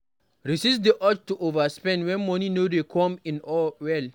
Resist di urge ti overspend when money dey come in well